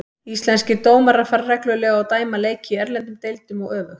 Íslenskir dómarar fara reglulega og dæma leiki í erlendum deildum og öfugt.